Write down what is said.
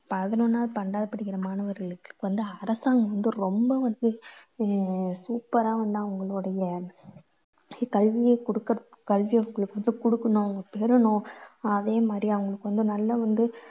பதினொண்ணாவது பன்னிரெண்டாவது படிக்கற மாணவர்களுக்கு வந்து அரசாங்கம் வந்து ரொம்ப வந்து ஆஹ் super ஆ வந்து அவங்களுடைய கல்வியை குடுக்~ கல்வியை குடுக்கணும் அவங்க பெறணும் அதே மாதிரி வந்து அவங்களுக்கு வந்து நல்ல வந்து